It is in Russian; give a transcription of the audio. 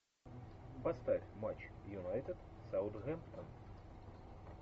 поставь матч юнайтед саутгемптон